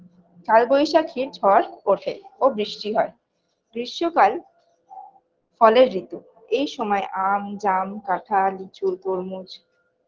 কাল বৈশাখীর ঝর ওঠে ও বৃষ্টি হয়ে গ্রীস্ম কাল ফলের ঋতু এইসময় আম জাম কাঠাল লিচু তরমুজ